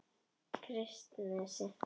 Kristnesi